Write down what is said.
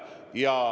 Aitäh!